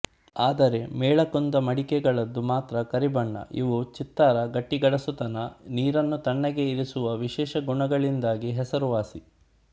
ಆದರೆ ಮೇಳಕುಂದ ಮಡಿಕೆಗಳದು ಮಾತ್ರ ಕರಿಬಣ್ಣ ಇವು ಚಿತ್ತಾರ ಗಟ್ಟಿಗಡಸುತನ ನೀರನ್ನು ತಣ್ಣಗೆ ಇರಿಸುವ ವಿಶೇಷ ಗುಣಗಳಿಂದಾಗಿ ಹೆಸರುವಾಸಿ